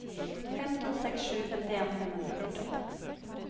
fem to seks sju femtien fem hundre og førtiåtte